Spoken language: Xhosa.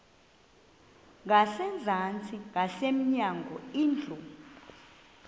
ngasezantsi ngasemnyango indlu